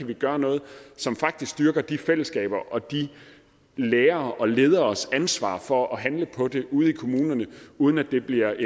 kan gøre noget som faktisk styrker de fællesskaber og de lærere og lederes ansvar for at handle på det ude i kommunerne uden at det bliver